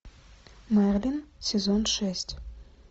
мерлин сезон шесть